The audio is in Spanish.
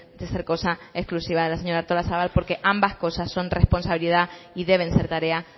de ser cosa exclusiva de la señora artolazabal porque ambas cosas son responsabilidad y deben ser tarea